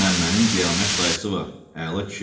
Məmmənin qiyamət dayısı var, əla kişidir.